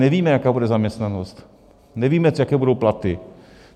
Nevíme, jaká bude zaměstnanost, nevíme, jaké budou platy.